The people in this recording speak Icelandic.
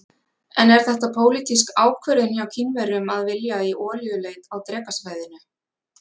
En er þetta pólitísk ákvörðun hjá Kínverjum að vilja í olíuleit á Drekasvæðinu?